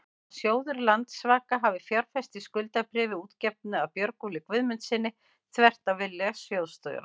að sjóður Landsvaka hafi fjárfest í skuldabréfi útgefnu af Björgólfi Guðmundssyni, þvert á vilja sjóðsstjóra?